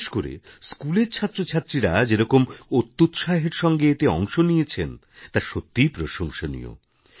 বিশেষ করে স্কুলের ছাত্র ছাত্রীরা যেরকম অত্যুৎসাহের সঙ্গে এতে অংশ নিয়েছেন তা সত্যিই প্রশংসনীয়